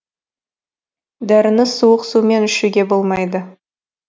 дәріні суық сумен ішуге болмайды